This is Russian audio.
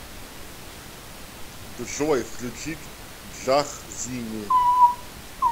джой включить джахзини